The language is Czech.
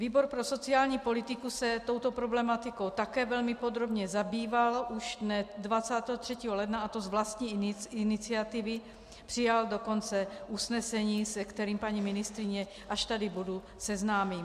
Výbor pro sociální politiku se touto problematikou také velmi podrobně zabýval už dne 23. ledna, a to z vlastní iniciativy, přijal dokonce usnesení, se kterým paní ministryni, až tady bude, seznámím.